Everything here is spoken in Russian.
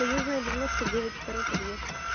союзная девяносто девять второй подъезд